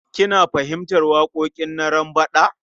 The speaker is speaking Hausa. Kina fahimtar waƙoƙin Narambaɗa?